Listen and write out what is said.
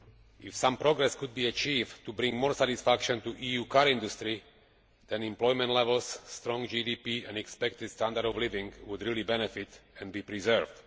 If some progress could be achieved to bring more satisfaction to the EU car industry, then employment levels, strong GDP and expected standards of living would really benefit and be preserved.